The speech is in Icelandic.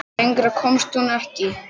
Lengra komst hún ekki.